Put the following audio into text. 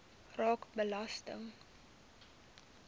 raak belasting